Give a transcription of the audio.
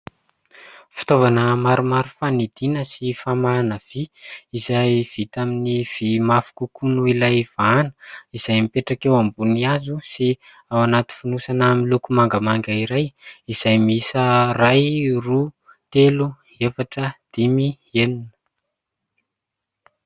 Fitaovana maromaro fanidiana sy famahana vy : izay vita amin'ny vy mafy kokoa noho ilay vahana, izay mipetraka eo ambony hazo sy ao anaty fonosana miloko mangamanga iray, izay miisa iray, roa, telo, efatra, dimy, enina...